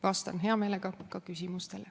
Vastan hea meelega küsimustele.